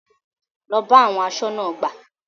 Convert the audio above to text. Lọ bá àwọn aṣọ́nà ọgbà!